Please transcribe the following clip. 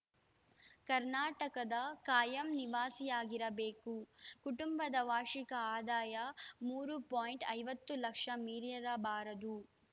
ಕರ್ನಾಟಕದ ಕಾಯಂ ನಿವಾಸಿಯಾಗಿರಬೇಕು ಕುಟುಂಬದ ವಾರ್ಷಿಕ ಆದಾಯ ಮೂರು ಪೊಯಿಂಟ್ ಐವತ್ತು ಲಕ್ಷ ಮೀರಿರಬಾರದು